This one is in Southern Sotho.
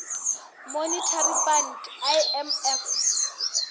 monetary fund imf